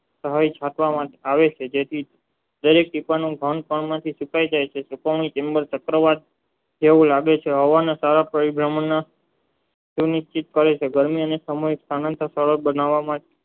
સહેજ રાખવામાં આવે છે તેથી દરેક સુકાય જાય છે પોતાની કચરાવત જેવું લાગે છે હવા માં ગરમી અને સમય તાકવા માં